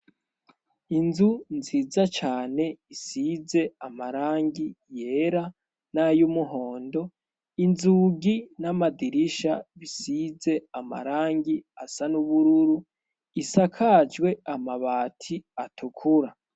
Inzu nziza cane isize amarangi yera n'ay'umuhondo inzugi n'amadirisha bisize amarangi asa n'ubururu isakajwe amabati atukura.